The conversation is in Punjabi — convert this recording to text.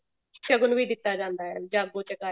ਸ਼ਗਨ ਵੀ ਦਿੱਤਾ ਜਾਂਦਾ ਹੈ ਜਾਗੋ ਚਕਾਈ